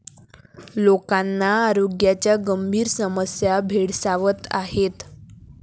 लोकांना आरोग्याच्या गंभीर समस्या भेडसावत आहेत.